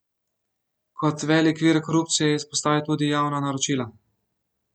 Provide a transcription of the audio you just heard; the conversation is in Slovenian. Kot velik vir korupcije je izpostavil tudi javna naročila.